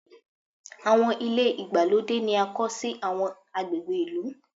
Àwọn ilé ìgbàlódé ni a kọ́ sí àwọn agbègbè ìlú.